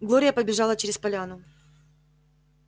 глория побежала через поляну